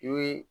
I ye